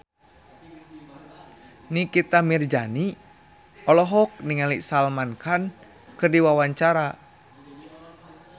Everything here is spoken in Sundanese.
Nikita Mirzani olohok ningali Salman Khan keur diwawancara